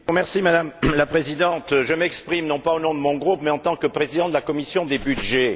Madame la Présidente, je m'exprime non pas au nom de mon groupe, mais en tant que président de la commission des budgets.